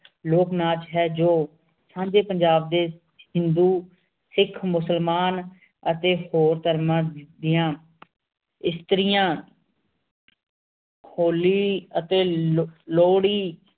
ਲੋਕ ਨਾਚ ਹੈਂ ਜੋ ਸਾਂਝੇ ਪੰਜਾਬ ਦੇ ਹਿੰਦੂ ਸਿਖ ਮੁਸਲਮਾਨ ਅਤੇ ਹੋਰ ਧਰਮਾਂ ਦੀਆਂ ਇਸਤਰੀਆਂ ਹੋਲੀ ਅਤੇ ਲੋਹੜੀ